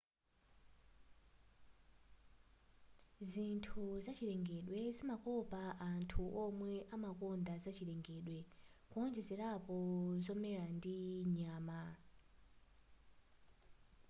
zinthu zachilengedwe zimakopa anthu womwe amakonda zachilengedwe kuonjezerapo zomera ndi nyama